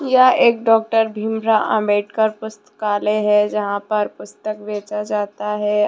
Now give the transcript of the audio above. यह एक डॉक्टर भीमराव अंबेडकर पुस्तकालय है जहां पर पुस्तक बेचा जाता है।